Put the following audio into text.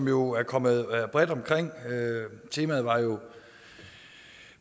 jo kommet bredt omkring temaet var